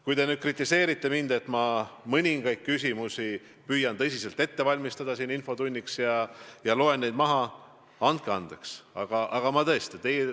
Kui te aga kritiseerite mind, et ma mõningaid vastuseid püüan tõsiselt ette valmistada ja loen neid siin infotunnis maha, siis andeks, aga tõesti on nii.